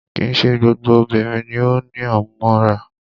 Kìí ṣe gbogbo obìnrin ni o ní àmúmóra.